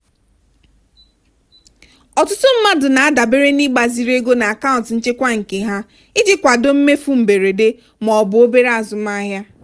ọtụtụ mmadụ na-adabere n'ịgbaziri ego n'akaụntụ nchekwa nke ha iji kwado mmefu mberede ma ọ bụ obere azụmahịa.